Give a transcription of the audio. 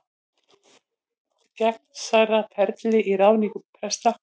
Gegnsærra ferli í ráðningu presta